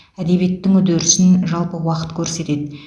әдебиеттің үдерісін жалпы уақыт көрсетеді